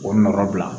O nɔgɔ bila